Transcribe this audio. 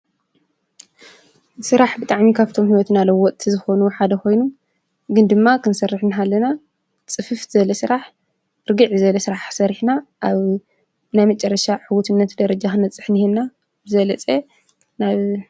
ስራሕ ብጣዕሚ ካብቶም ህይወትና ለወጥቲ ዝኾኑ ሓደ ኾይኑ ግን ድማ ክንሰርሕ እናሃለና ፅፍፍ ዝበለ ስራሕ፣ ርግእ ዝበለ ስራሕ ሰሪሕና ኣብ ናይ መጨረሻ ዕውትነት ደረጃ ክንበፅሕ እኔሀና፡፡ ብዝበለፀ ናብ ?